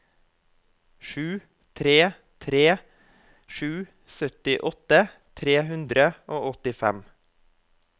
sju tre tre sju syttiåtte tre hundre og åttifem